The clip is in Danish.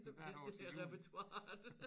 Hvis det er repertoiret